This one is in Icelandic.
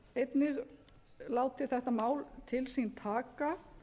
einnig látið þetta mál til sín taka